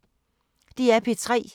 DR P3